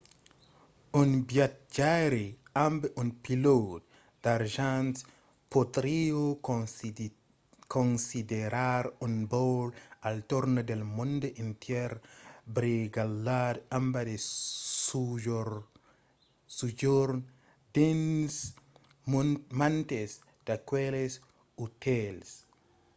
un viatjaire amb un pilòt d'argent podriá considerar un vòl al torn del mond entièr brigalhat amb de sojorns dins mantes d’aqueles otèls